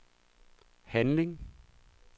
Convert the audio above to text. handling